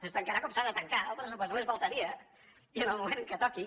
es tancarà com s’ha de tancar el pressupost només faltaria i en el moment que toqui